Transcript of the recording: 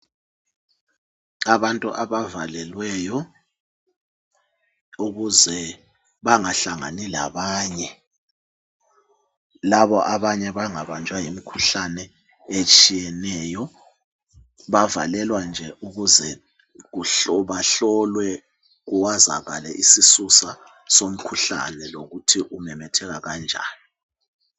Abantu abavalelweyo, ukuze bangahlangani labanye, labo abanye bangabanjwa yimikhuhlane etshiyeneyo. Bavalelwa nje ukuze bahlolwe, kwazakale isisusa somkhuhlane lokuthi umemetheka kanjani.